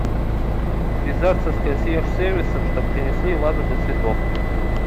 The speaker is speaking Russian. связаться с консьерж сервисом чтобы принесли вазу для цветов